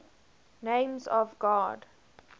names of god